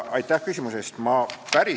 Aitäh küsimuse eest!